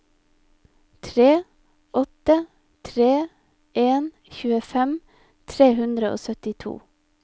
tre åtte tre en tjuefem tre hundre og syttito